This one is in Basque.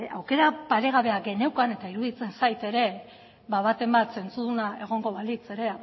aukera paregabea geneukan eta iruditzen zait ere ba baten bat zentzuduna egongo balitz ere